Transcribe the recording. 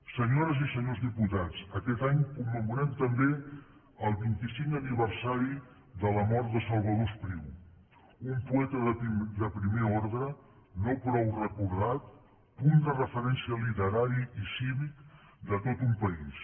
senyores i senyors diputats aquest any commemorem també el vint i cinquè aniversari de la mort de salvador espriu un poeta de primer ordre no prou recordat punt de referència literari i cívic de tot un país